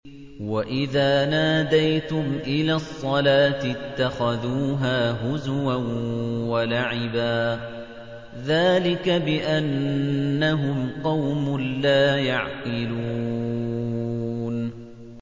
وَإِذَا نَادَيْتُمْ إِلَى الصَّلَاةِ اتَّخَذُوهَا هُزُوًا وَلَعِبًا ۚ ذَٰلِكَ بِأَنَّهُمْ قَوْمٌ لَّا يَعْقِلُونَ